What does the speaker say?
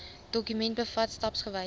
dokument bevat stapsgewyse